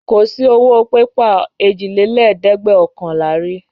Kò sí owó pépà èjìlélẹ́ẹ̀dẹ́gbẹ́ọ̀kànlá rí.